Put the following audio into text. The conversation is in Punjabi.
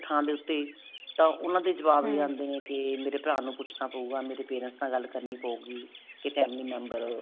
ਥਾਂ ਡੇ ਉੱਤੇ ਤਾਂ ਉਹਨਾ ਦੇ ਜਵਾਬ ਆਉਂਦੇ ਨੇ ਕੇ ਮੇਰੇ ਭਰਾ ਨੂੰ ਪੁੱਛਣਾ ਪਉਗਾ ਮੇਰੇ parents ਨਾਲ ਗੱਲ ਕਰਨੀ ਪਉਗੀ ਕੇ family member